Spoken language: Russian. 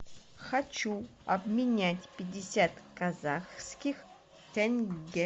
хочу обменять пятьдесят казахских тенге